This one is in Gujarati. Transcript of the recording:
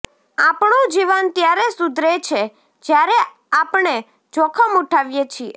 આપણું જીવન ત્યારે સુધરે છે જયારે આપણે જોખમ ઉઠાવીએ છીએ